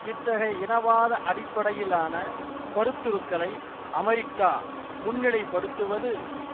இத்தகைய இனவாத அடிப்படையிலான கருத்துருக்களை அமெரிக்கா முன்னிலைப்படுத்துவது